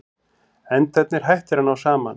Endarnir hættir að ná saman.